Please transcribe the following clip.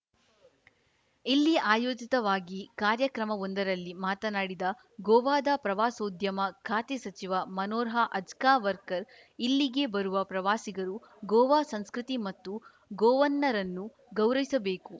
ಇಲ್ಲಿ ಆಯೋಜಿತವಾಗಿ ಕಾರ್ಯಕ್ರಮವೊಂದರಲ್ಲಿ ಮಾತನಾಡಿದ ಗೋವಾದ ಪ್ರವಾಸೋದ್ಯಮ ಖಾತೆ ಸಚಿವ ಮನೋರ್ಹ ಅಜ್ಗಾಂವ್ಕರ್‌ ಇಲ್ಲಿಗೆ ಬರುವ ಪ್ರವಾಸಿಗರು ಗೋವಾ ಸಂಸ್ಕೃತಿ ಮತ್ತು ಗೋವನ್ನರನ್ನು ಗೌರವಿಸಬೇಕು